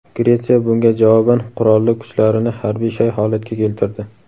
Gretsiya bunga javoban qurolli kuchlarini harbiy shay holatga keltirdi.